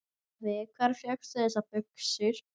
Afi, hvar fékkstu þessar buxur?